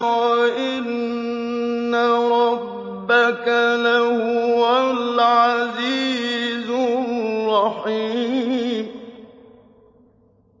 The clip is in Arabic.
وَإِنَّ رَبَّكَ لَهُوَ الْعَزِيزُ الرَّحِيمُ